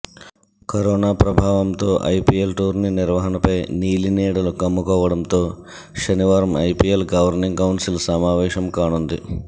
corona ప్రభావంతో IPL tourney నిర్వహణపై నీలినీడలు కమ్ముకోవడంతో శనివారం ఐపీఎల్ గవర్నింగ్ కౌన్సిల్ సమావేశం కానుంది